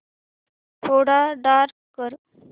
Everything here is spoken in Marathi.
थोडा डार्क कर